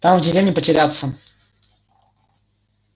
там в деревне потеряться